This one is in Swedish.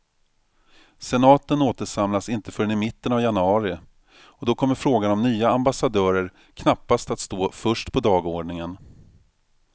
Senaten återsamlas inte förrän i mitten av januari, och då kommer frågan om nya ambassadörer knappast att stå först på dagordningen.